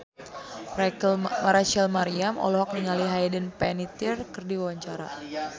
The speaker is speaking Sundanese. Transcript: Rachel Maryam olohok ningali Hayden Panettiere keur diwawancara